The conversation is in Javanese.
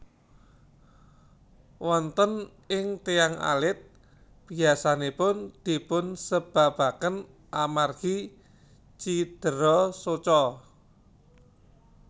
Wonten ing tiyang alit biyasanipun dipun sebabaken amargi cidera soca